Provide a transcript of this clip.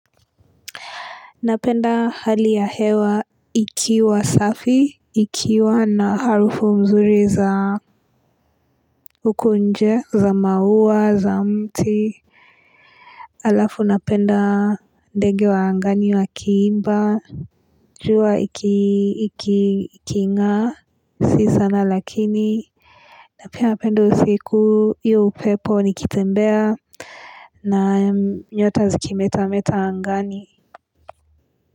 Napenda hali ya hewa ikiwa safi, ikiwa na harufu mzuri za huko nje, za maua, za mti. Alafu napenda ndege wa angani wa kiimba, jua ikiingaa, si sana lakini. Napia napenda usiku hiyo upepo nikitembea na nyota zikimetameta angani.